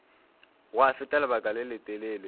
gwa feta lebaka le letelele